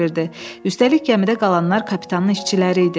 Üstəlik gəmidə qalanlar kapitanın işçiləri idi.